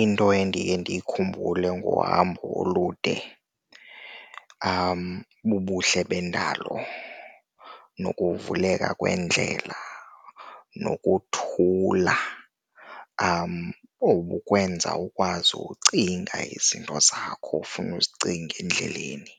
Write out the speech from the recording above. Into endiye ndiyikhumbule ngohambo olude bubuhle bendalo nokuvuleka kwendlela, nokuthula okukwenza ukwazi ucinga izinto zakho ofuna uzicinga endleleni.